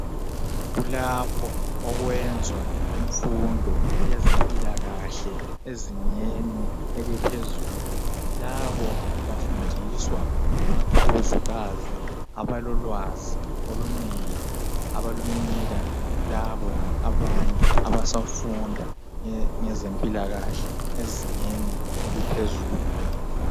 Kulapho okwenzwa imfundo yezempilakahle ezingeni eliphezulu. Labo bafundiswa ngomakhuzukazi abalolwazi olunengi abalunika laba abanye abasafunda ngezempilakahle ezingeni eliphezulu.